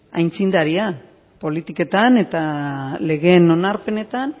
aitzindaria politiketan eta legeen onarpenetan